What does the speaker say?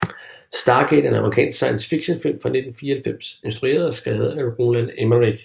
Stargate er en amerikansk science fictionfilm fra 1994 instrueret og skrevet af Roland Emmerich